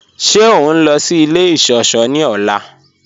Ṣẹ o nlọ sí ilẹ̀ iṣọ̀ṣọ̀ ni ọla?